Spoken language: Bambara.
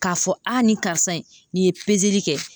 K'a fɔ a nin karisa in nin ye kɛ.